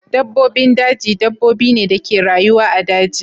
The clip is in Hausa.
Dabbobin daji dabbobi ne da ke rayuwa a daji.